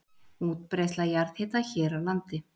Útbreiðsla jarðhita hér á landi